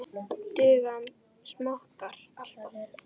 Duga smokkar alltaf?